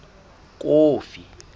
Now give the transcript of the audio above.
kofi